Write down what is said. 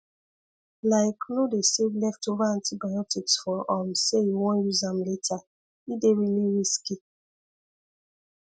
like no dey save leftover antibiotics for um say you wan use am later e dey really risky